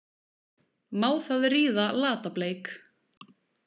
Má það ríða Lata- Bleik?